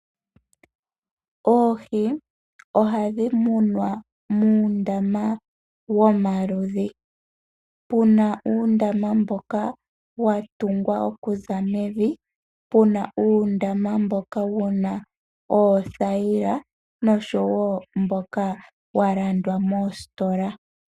Oohi ohadhi munwa muundama womaludhi. Opu na uundama mboka wa tungwa okuza mevi, pu na uundama mboka wu na oothayila noshowo mboka wa landwa mositola.